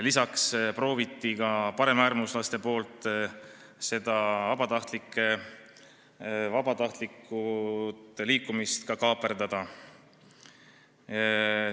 Lisaks olid paremäärmuslased proovinud seda vabatahtlike liikumist kaaperdada.